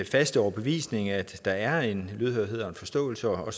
faste overbevisning at der er en lydhørhed og en forståelse og at